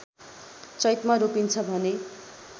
चैतमा रोपिन्छ भने